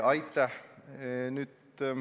Aitäh!